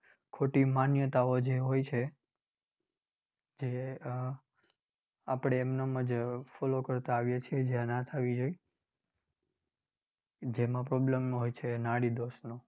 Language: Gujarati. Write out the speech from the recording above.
ખોટી માન્યતાઓ જે હોય છે. જે આહ આપડે એમ નેમ જ follow કરતાં આવીએ છીએ જે ના થવી જોઈ. જેમાં problem હોય છે નાડીદોષનો.